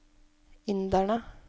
inderne